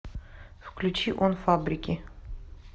включи он фабрики